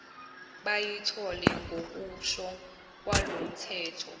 bayithole ngokusho kwalomthetho